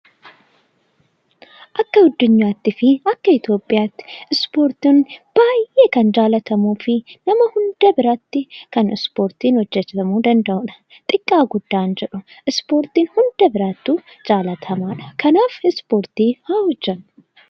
Akka addunyaattii fi akka Itoophiyaatti ispoortiin baay'ee kan jaalatamuu fi nama hunda biratti kan ispoortiin hojjetamuu danda'udha. Xiqqaa guddaa hin jedhu, Ispoortiin hunda birattuu jaalatamaadha. Kanaaf ispoortii haa hojjennu.